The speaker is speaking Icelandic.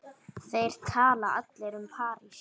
Þeir tala allir um París.